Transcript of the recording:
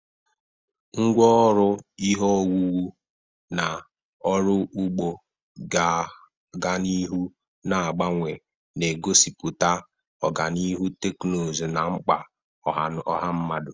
Ngwá ọrụ ihe owuwu na ọrụ ugbo ga-aga n'ihu na-agbanwe, na-egosipụta ọganihu teknụzụ na mkpa ọha mmadụ.